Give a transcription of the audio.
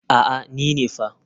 A'a ni ne fa.